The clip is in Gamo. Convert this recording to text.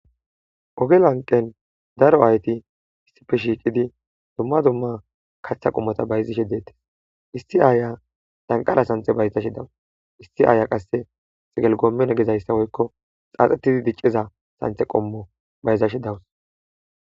ogelanqen daro aayti issipfe shiiqidi dumma dumma kaththa qommota bayzashe deettes isti aaya danqara sante bayzashe dawus issi aaya qasse xigelgoommen gezayssa woykko xaaxetidi dicceza santhe qommo bayzashe dawus